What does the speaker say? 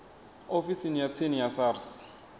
ofisini ya tsini ya sars